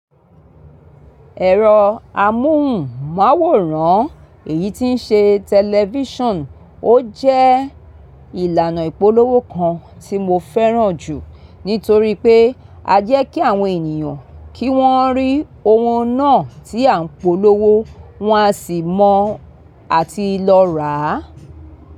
Ẹ̀rọ amóhùnmáwòrán, èyí tí ń ṣe tẹlifíṣàn, ó jẹ́ ìlànà ìpolówó kan tí mo fẹ́ràn jù nítorí pé a jẹ́ kí àwọn ènìyàn kí wọ́n rí ohun náà tí à ń polówó, wọ́n á sì mọ̀ àti lọ rà á.